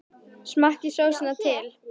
Smakkið sósuna til.